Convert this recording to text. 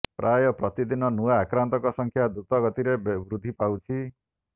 ପ୍ରାୟ ପ୍ରତିଦିନ ନୂଆ ଆକ୍ରାନ୍ତଙ୍କ ସଂଖ୍ୟା ଦ୍ରୁତ ଗତିରେ ବୃଦ୍ଧି ପାଉଛି